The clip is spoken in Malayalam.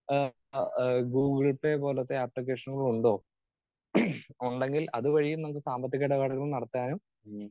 സ്പീക്കർ 2 ഏഹ് ആഹ് ഗൂഗിൾ പേ പോലത്തെ ആപ്ലിക്കേഷനുകൾ ഉണ്ടോ ഉണ്ടെങ്കിൽ അതു വഴിയും നമുക്ക് സാമ്പത്തിക ഏടപാടുകൾ നടത്താനും